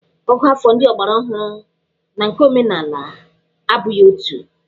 Ògụ́àfọ̀ ndị ọgbaraọhụrụ na nke omenala abụghị otu.